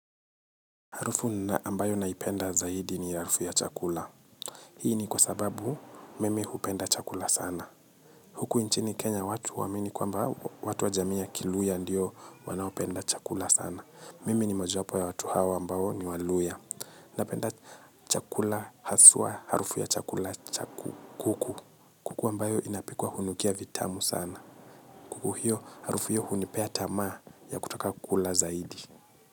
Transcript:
Harufu ambayo naipenda zaidi ni harufu ya chakula. Hii ni kwa sababu mimi hupenda chakula sana. Huku nchini Kenya watu huamini kwamba watu wa jamii ya kiluhya ndiyo wanaopenda chakula sana. Mimi ni mojapo ya watu hawa ambao ni waluhya. Napenda chakula haswa harufu ya chakula cha kuku. Kuku ambayo inapikwa hunukia vitamu sana. Kuku hiyo harufu hiyo hunipea tamaa ya kutaka kula zaidi.